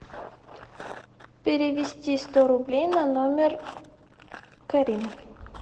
перевести сто рублей на номер карины